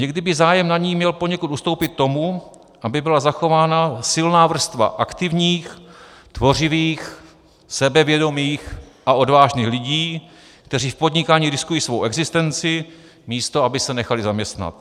Někdy by zájem na ní měl poněkud ustoupit tomu, aby byla zachována silná vrstva aktivních, tvořivých, sebevědomých a odvážných lidí, kteří v podnikání riskují svou existenci, místo aby se nechali zaměstnat.